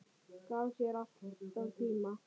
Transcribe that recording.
Gaf sér alltaf tíma.